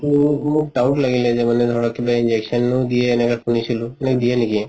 ত মোৰ doubt লাগিলে যে মানে ধৰক কিবা injection ও দিয়ে এনেকা শুনিছিলো, এনে দিয়ে নেকি?